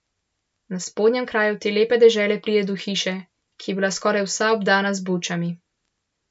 Na spodnjem kraju te lepe dežele pride do hiše, ki je bila skoraj vsa obdana z bučami.